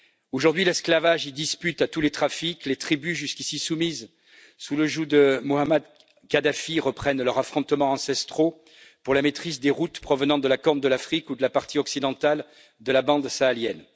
Aujourd'hui, l'esclavage y dispute à tous les trafics, les tribus jusqu'ici soumises sous le joug de Mohamed Kadhafi reprennent leurs affrontements ancestraux pour la maîtrise des routes provenant de la Corne de l'Afrique ou de la partie occidentale de la bande sahélienne.